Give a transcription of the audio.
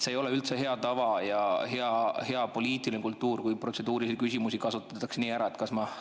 See ei ole üldse hea tava ja hea poliitiline kultuur, kui protseduurilisi küsimusi niimoodi ära kasutatakse.